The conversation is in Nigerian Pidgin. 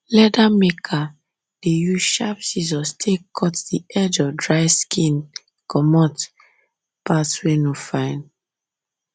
leather maker um dey use sharp scissors take cut the edge of dried skin to comot parts wey no fine